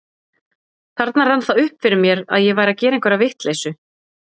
Þarna rann það upp fyrir mér að ég væri að gera einhverja vitleysu.